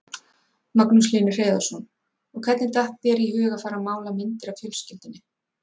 Magnús Hlynur Hreiðarsson: Og hvernig datt þér í hug að fara mála myndir af fjölskyldunni?